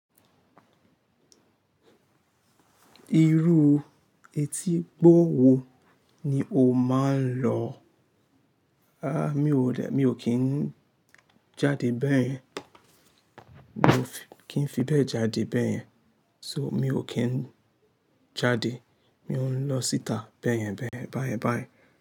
Irú etígbó wo ni o máa ń lọ? A! Mi ò kí ń jáde bẹ́yẹn, mi ò kí ń fi bẹ́ẹ̀ jáde bẹ́yẹn. So, mi ò kí ń jáde, mi ò ń lọ síta bẹ́yẹn bẹ́yẹn bá ẹ bá ẹ.